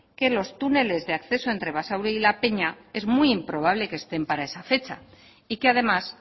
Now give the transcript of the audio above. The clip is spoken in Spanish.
que los túneles de acceso entre basauri y la peña es muy improbable que estén para esa fecha y que además